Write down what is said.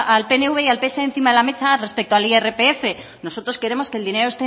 al pnv y al pse encima de la mesa respecto al irpf nosotros queremos que el dinero